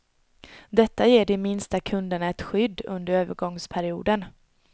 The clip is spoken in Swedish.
Detta ger de minsta kunderna ett skydd under övergångsperioden.